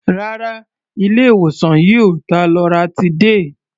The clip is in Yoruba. Rárá, ilé-ìwòsàn yìí ò ta loratiday.